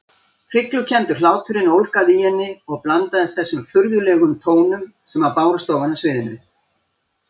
Hryglukenndur hláturinn ólgaði í henni og blandaðist þessum furðulegum tónum sem bárust ofan af sviðinu.